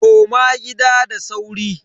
Koma gida da sauri.